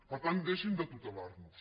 per tant deixin de tutelarnos